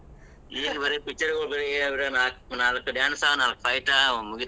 ಈಗೇನ್ ಬರೇ picture ಗೊಳ್ ಏನ್ ಬರೇ ನಾಕ್ dance ನಾಕ್ fight ಮುಗಿತ್.